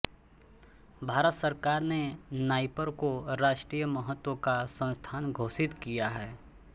भारत सरकार ने नाईपर को राष्ट्रीय महत्व का संस्थान घोषित किया है